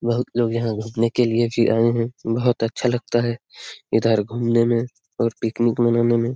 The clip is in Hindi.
बहुत लोग यहाँ घूमने के लिए भी आये है बहुत अच्छा लगता है इधर घूमने में और पिकनिक मनाने में--